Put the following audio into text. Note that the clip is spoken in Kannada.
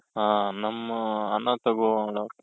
ಹ ನಮ್ಮ